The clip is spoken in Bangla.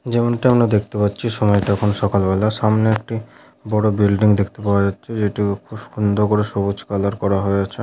যেমনটা আমরা দেখতে পাচ্ছি সময়টা এখন সকালবেলা সামনে একটি বড় বিল্ডিং দেখতে পাওয়া যাচ্ছে যেটি ও খুব সুন্দর করে সবুজ কালার করা হয়েছে।